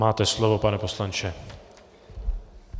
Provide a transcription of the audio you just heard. Máte slovo, pane poslanče.